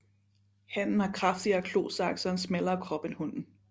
Hannen har kraftigere klosakse og en smallere krop end hunnen